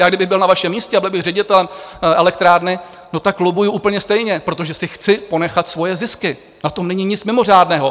Já kdybych byl na vašem místě a byl bych ředitelem elektrárny, no tak lobbuju úplně stejně, protože si chci ponechat svoje zisky, na tom není nic mimořádného.